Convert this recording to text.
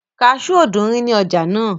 kasú ò dúnrí ní ọjà náà